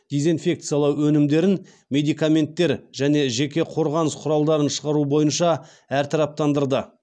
дизенфекциялау өнімдерін медикаменттер және жеке құрғаныс құралдарын шығару бойынша әртараптандырды